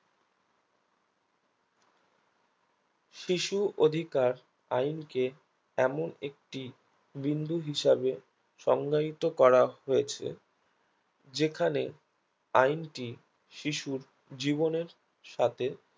শিশু অধিকার আইনকে এমন একটি বিন্দু হিসাবে সংজ্ঞায়িত করা হয়েছে যেখানে আইনটি শিশুর জীবনের সাথে